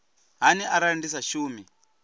hani arali ndi sa shumi